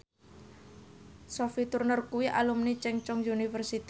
Sophie Turner kuwi alumni Chungceong University